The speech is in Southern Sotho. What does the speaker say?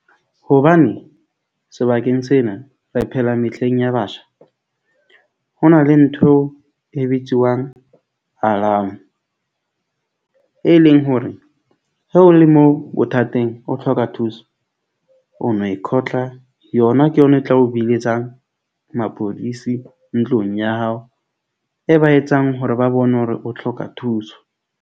Hobane sebakeng sena re phela mehleng ya batjha. Ho na le ntho eo e bitsiwang e leng hore ha o le moo bothateng, o tlhoka thuso, o no e yona ke yona e tla o biletsang mapodisi ntlong ya hao, e ba etsang hore ba bone hore o tlhoka thuso.